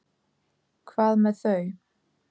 Hvað með þau?